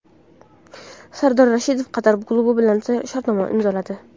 Sardor Rashidov Qatar klubi bilan shartnoma imzoladi.